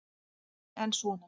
Jón: En svona.